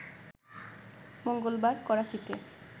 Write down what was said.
মঙ্গলবার করাচিতে